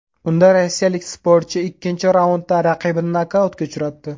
Unda rossiyalik sportchi ikkinchi raundda raqibini nokautga uchratdi.